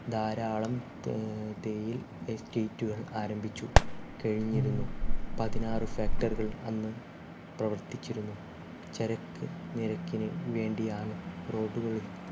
ധാരാളം ഏർ തേയിൽ estate കൾ ആരംഭിച്ചു കഴിഞ്ഞിരുന്നു പതിനാറ് factory കൾ അന്ന് പ്രവർത്തിച്ചിരുന്നു ചരക്ക് നിരക്കിനു വേണ്ടിയാണ് road കൾ